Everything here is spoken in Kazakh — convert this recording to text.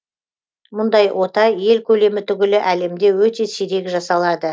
мұндай ота ел көлемі түгілі әлемде өте сирек жасалады